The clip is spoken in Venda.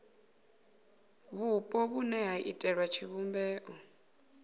vhupo vhune ha iitela tshivhumbeo